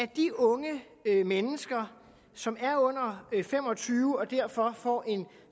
de unge mennesker som er under fem og tyve år og derfor får en